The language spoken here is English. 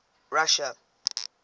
russia